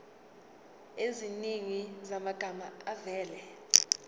eziningi zamagama avela